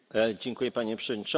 Panie Przewodniczący!